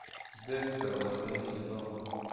декстер восьмой сезон